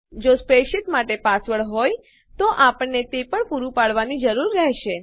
જો સ્પ્રેડશીટ માટે પાસવર્ડ હોય તો આપણને તે પણ પુરૂ પાડવાની જરૂર રહેશે